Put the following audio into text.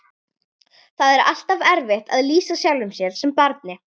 Það er alltaf erfitt að lýsa sjálfum sér sem barni.